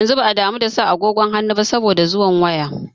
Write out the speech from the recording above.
Yanzu ba a damu da sa agogon hannu ba saboda zuwan waya.